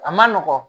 A man nɔgɔn